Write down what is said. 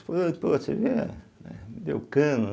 Falei pô, essa aí eh, né me deu cano.